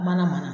Mana mana